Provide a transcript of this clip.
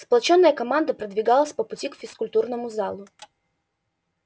сплочённая команда продвигалась по пути к физкультурному залу